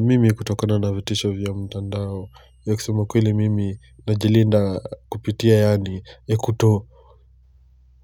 Mimi kutokona navitisho vya mtandao ya kusema kweli mimi najilinda kupitia yani